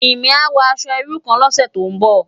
Jimi á wò aṣò irú kán lòsè tó n bò